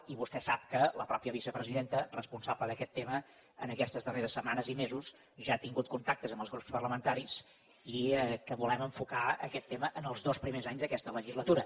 i vostè sap que la mateixa vicepresidenta responsable d’aquest tema en aquestes darreres setmanes i mesos ja ha tingut contactes amb els grups parlamentaris i que volem enfocar aquest tema en els dos primers anys d’aquesta legislatura